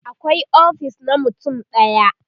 akwai ofis na mutum ɗaya